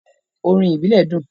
“Orin ìbílẹ̀” dùn.